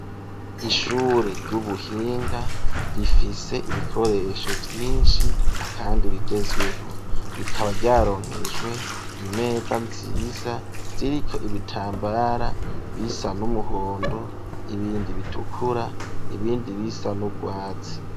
Ishure ry'ubuhinga, rifise ibikoresho vyinshi, kandi bigezweho ,rikaba ryaronkejwe imeza nziza ziriko ibitambara ,bisa n'umuhondo, ibindi bitukura, ibindi bisa n'ubwatsi.